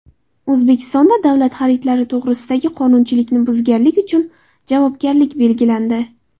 O‘zbekistonda davlat xaridlari to‘g‘risidagi qonunchilikni buzganlik uchun javobgarlik belgilandi.